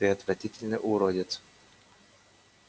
ты отвратительный уродец